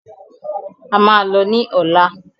A máa lọ ní ọ̀lá.